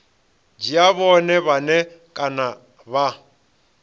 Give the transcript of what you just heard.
dzhia vhone vhane kana vha